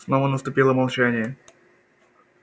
снова наступило молчание